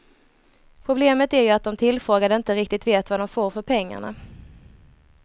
Problemet är ju att de tillfrågade inte riktigt vet vad de får för pengarna.